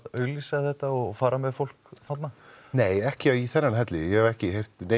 auglýsa þetta og fara með fólk þarna nei ekki í þennan helli ég hef ekki heyrt